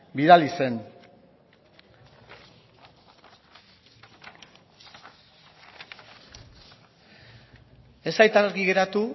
bidali zen ez zait argi geratu